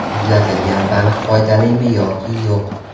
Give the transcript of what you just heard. Muzlatilgan baliq foydalimi yoki yo‘q?.